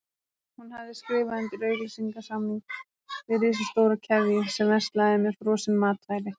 Hún hafði skrifað undir auglýsingasamning við risastóra keðju sem verslaði með frosin matvæli.